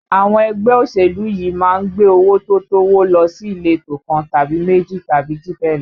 Àwọn ẹgbẹ́ òṣèlú yìí a máa gbé owó tó tówó lọ sí ìletò kan tàbí méjì tàbí jù bẹ́ẹ̀ lọ